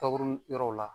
Takuru yɔrɔw la